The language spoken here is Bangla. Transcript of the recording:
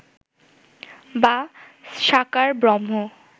বা সাকার ব্রহ্ম